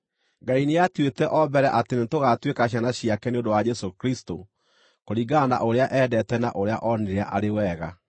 Ngai nĩatuĩte o mbere atĩ nĩtũgaatuĩka ciana ciake nĩ ũndũ wa Jesũ Kristũ, kũringana na ũrĩa eendete na ũrĩa oonire arĩ wega,